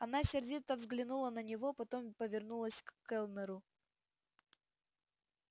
она сердито взглянула на него потом повернулась к кэллнеру